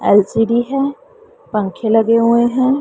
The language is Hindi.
एल_सी_डी है पंखे लगे हुए हैं।